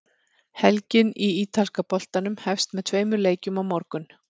Helgin í ítalska boltanum hefst með tveimur leikjum á morgun.